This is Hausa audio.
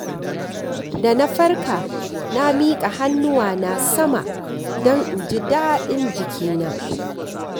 Da na farka, na miƙa hannuwana sama don in ji daɗin jikina.